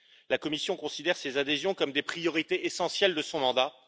La Commission considère ces adhésions comme des priorités essentielles de son mandat.